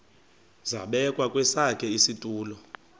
zabekwa kwesakhe isitulo